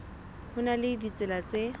ho na le ditsela tse